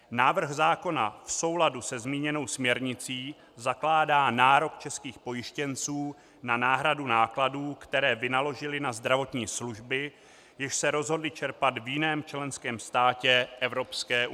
Návrh zákona v souladu se zmíněnou směrnicí zakládá nárok českých pojištěnců na náhradu nákladů, které vynaložili na zdravotní služby, jež se rozhodli čerpat v jiném členském státě EU.